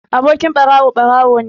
Abokin ɓarawo ɓarawo ne